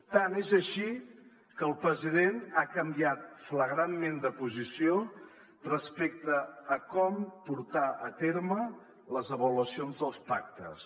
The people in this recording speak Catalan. tant és així que el president ha canviat flagrantment de posició respecte a com portar a terme les avaluacions dels pactes